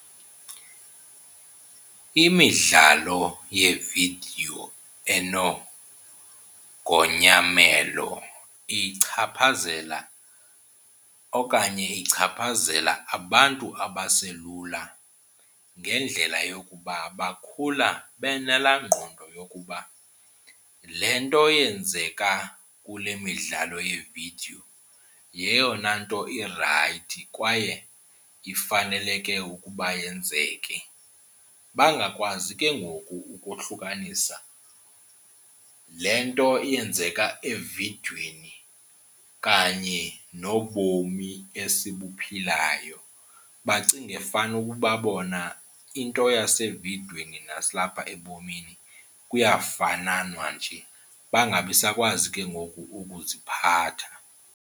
Imidlalo yeevidiyo enogonyamelo ichaphazela okanye ichaphazela abantu abaselula ngendlela yokuba bakhula benalaa ngqondo yokuba le nto yenzeka kule midlalo yevidiyo yeyona nto irayithi kwaye ifaneleke ukuba yenzeke. Bangakwazi ke ngoku ukohlukanisa le nto yenzeka evidiyweni kanye nobomi esibuphilayo. Bacinge fanukuba bona into yasevidiyweni nalapha ebomini kuyafananwa nje, bangabisakwazi ke ngoku ukuziphatha.